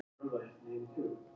Hún sagði já.